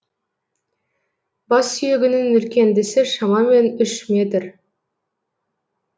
бассүйегінің үлкендісі шамамен үш метр